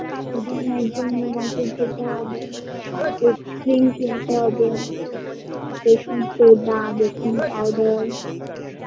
তাই জন্য একদিন নিউ মার্কেট যেতে হবে whipped cream কিনতে হবে baking soda baking powder